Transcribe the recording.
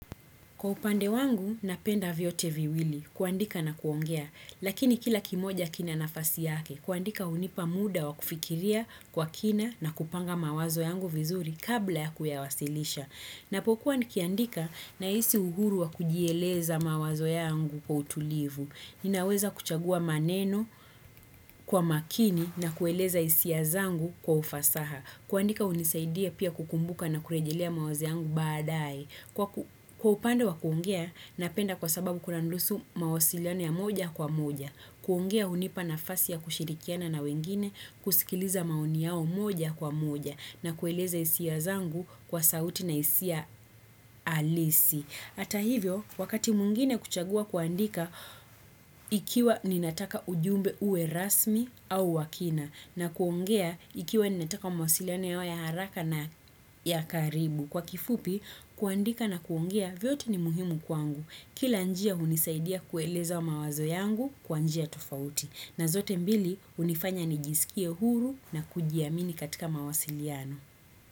Kwa upande wangu, napenda vyote viwili, kuandika na kuongea, lakini kila kimoja kina nafasi yake, kuandika hunipa muda wa kufikiria kwa kina na kupanga mawazo yangu vizuri kabla ya kuyawasilisha. Napokuwa nikiandika nahisi uhuru wa kujieleza mawazo yangu kwa utulivu. Ninaweza kuchagua maneno kwa makini na kueleza hisia zangu kwa ufasaha. Kuandika hunisaidia pia kukumbuka na kurejelea mawazo yangu baadae. Kwa upande wa kuongea, napenda kwa sababu kulandusu mawasiliano ya moja kwa moja. Kuongea hunipa nafasi ya kushirikiana na wengine kusikiliza maoni yao moja kwa moja na kueleza hisia zangu kwa sauti na hisia alisi. Hata hivyo, wakati mwingine kuchagua kuandika ikiwa ninataka ujumbe uwe rasmi au wa kina na kuongea ikiwa ninataka mawasiliano yawe ya haraka na ya karibu. Kwa kifupi, kuandika na kuongea vyote ni muhimu kwangu. Kila njia hunisaidia kueleza mawazo yangu kwa njia tofauti. Na zote mbili hunifanya nijisikie huru na kujiamini katika mawasiliano.